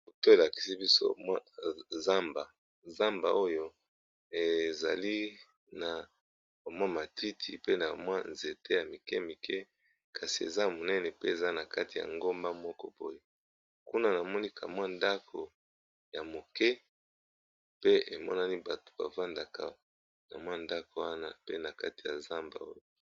Photo elakisi biso zamba , zamba oyo ezali na matiti pe na ba nzete Mike mike kasi eza munene pe eza na kati ya nagomba moko boye pe na ndako muke na katikati ya zamba oyo.